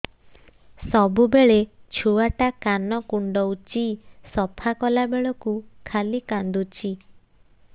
ସବୁବେଳେ ଛୁଆ ଟା କାନ କୁଣ୍ଡଉଚି ସଫା କଲା ବେଳକୁ ଖାଲି କାନ୍ଦୁଚି